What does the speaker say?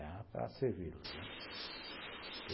Era para servi-los, né.